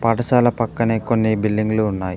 పాఠశాల పక్కనే కొన్ని బిల్డింగులు ఉన్నాయ్.